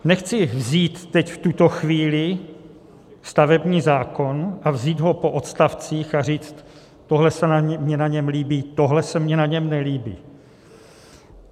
Nechci vzít teď v tuto chvíli stavební zákon a vzít ho po odstavcích a říct, tohle se mi na něm líbí, tohle se mi na něm nelíbí.